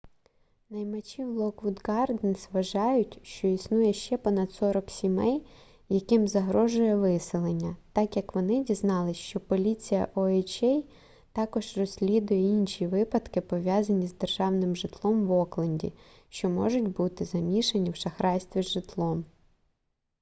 наймачі в локвуд гарденс вважають що існує ще понад 40 сімей яким загрожує виселення так як вони дізналися що поліція oha також розслідує інші випадки пов'язані з державним житлом в окленді що можуть бути замішані в шахрайстві з житлом